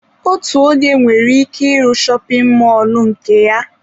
Otu onye nwere ike ị ru shopin mọlụ nke ya.